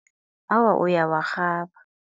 Awa, uyawarhaba.